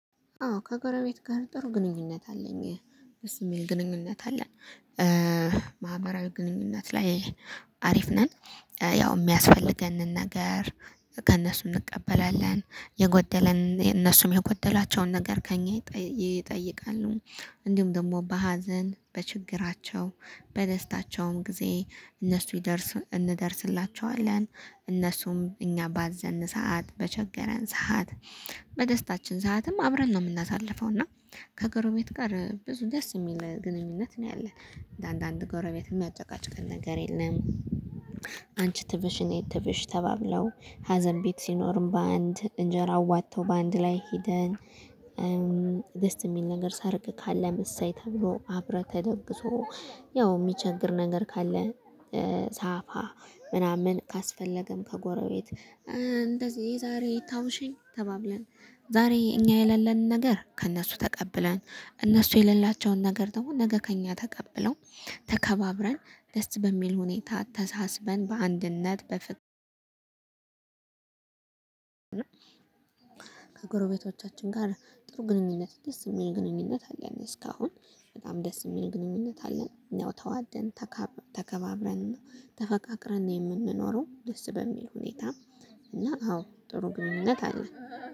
አዎ ከጎረቤት ጋር ጥሩ ግንኙነት አለኝ ደስ የሚል ግንኙነት አለ። ማህበራዊ ግንኙነት ላይ አሪፍ ነን። ያው የሚያስፈልገንን ነገር ከእነሱ እንቀበላለን የጎደለን እነሱም የጎደሏቸውን ነገር ከእኛ ይጠይቃሉ። እንዲሁም ደግሞ በሀዘን በችግራቸው በደስታቸውም ጊዜ እነሱ እንደርስላቸዋለን እነሱም እኛ ባዘንን ሰዓት በቸገረን ሰዓት። በደስታችን ሰዓትም አብረን ነው የምናሳልፈው እና ከጎረቤት ጋር ብዙ ደስ የሚል ግንኙነት ነው ያለን እንዳንዳንድ ጎረቤት የሚያጨቃጭቅ ነገር የለም። አንቺ ትብሽ እኔ ትብሽ ተባብለው ሀዘን ቤት ሲኖርም በአንድ እንጀራ አዋጥተው በአንድ ላይ ሄደን። ደስ የሚል ነገር ሰርግ ካለም እሰይ ተብሎ አብሮ ተደግሶ። ያው የሚቸግር ነገር ካለ። ሳፋ ምናምን ካስፈለገም ከጎረቤት እንደዚህ ዛሬ ታውሽኝ ተባብለን ዛሬ እኛ የሌለንን ነገር ከእነሱ ተቀብለን እነሱ የሌላቸውን ነገር ደግሞ ነገ ከእኛ ተቀብለው ተከባብረን ደስ በሚል ሁኔታ ተሳስበን በአንድነት በፍቅር። ከጎረቤቶቻችን ጋር ጥሩ ግንኙነት ደስ የሚል ግንኙነት አለን እስካሁን በጣም ደስ የሚል ግንኙነት አለን። እኛው ተዋደን ተከባብረን ተፈቃቅረን የምንኖረው ደስ በሚል ሁኔታ። እና አዎ ጥሩ ግንኙነት አለ